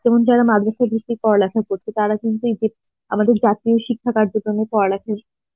যেমন যারা মাদ্রাসা ভিত্তিক পড়ালেখা করছে তারা কিন্তু এই যে আমাদের জাতীয় শিক্ষা কার্যক্রমে পড়া লেখার,